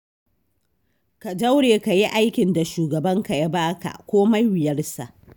Ka daure, ka yi aikin da shugabanka ya ba ka, komai wuyarsa.